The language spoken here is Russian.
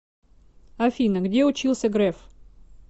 афина где учился греф